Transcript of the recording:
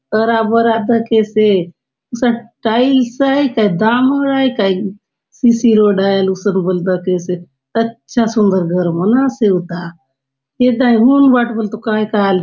हरा - भरा दखेसे हुसन टाइल्स आय काय डामर आय काय सी सी रोड आय आले हुसन बले दखेसे अच्छा सुंदर घर मन आसे हुता एदाय हुन बाटे बले तो काय - काय आले --